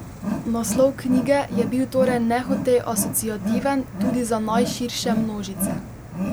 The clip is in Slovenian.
Naslov knjige je bil torej nehote asociativen tudi za najširše množice.